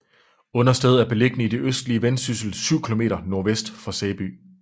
Understed er beliggende i det østlige Vendsyssel syv kilometer nordvest for Sæby